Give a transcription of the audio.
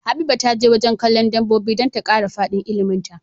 Habiba taje wajan kallon dabobi dan ta kara fadin ilimin ta